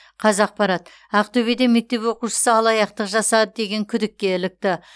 қазақпарат ақтөбеде мектеп оқушысы алаяқтық жасады деген күдікке ілікті